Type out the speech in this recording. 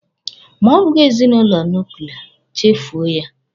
Ma ọ bụghị ezinụlọ nuklia, chefuo ya.